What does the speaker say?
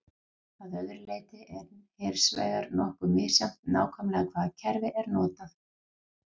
Að öðru leyti er hins vegar nokkuð misjafnt nákvæmlega hvaða kerfi er notað.